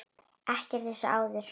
Ekkert eins og áður.